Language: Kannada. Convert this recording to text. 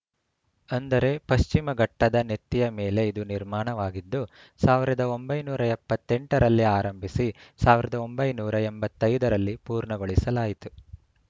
ಅಂದರೆ ಪಶ್ಚಿಮ ಘಟ್ಟದ ನೆತ್ತಿಯ ಮೇಲೆ ಇದು ನಿರ್ಮಾಣವಾಗಿದ್ದು ಸಾವಿರದ ಒಂಬೈನೂರ ಎಪ್ಪತ್ತ್ ಎಂಟ ರಲ್ಲಿ ಆರಂಭಿಸಿ ಸಾವಿರದ ಒಂಬೈನೂರ ಎಂಬತ್ತ್ ಐದ ರಲ್ಲಿ ಪೂರ್ಣಗೊಳಿಸಲಾಯಿತು